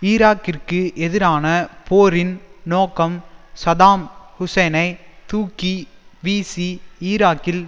ஈராக்கிற்கு எதிரான போரின் நோக்கம் சதாம் ஹூசைனைத் தூக்கி வீசி ஈராக்கில்